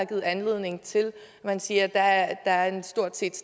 givet anledning til at man siger at at der stort set